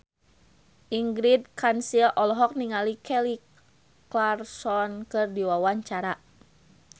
Ingrid Kansil olohok ningali Kelly Clarkson keur diwawancara